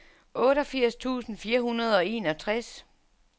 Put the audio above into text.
otteogfirs tusind fire hundrede og enogtres